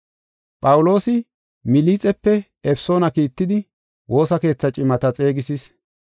Phawuloosi Milixepe Efesoona kiittidi woosa keethaa cimata xeegisis.